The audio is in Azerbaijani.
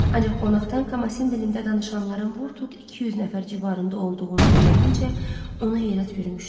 Ancaq qonaqdan Kamasin dilində danışanların vur-tut 200 nəfər civarında olduğunu öyrənincə onu heyrət bürümüşdü.